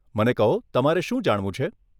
મને કહો, તમારે શું જાણવું છે?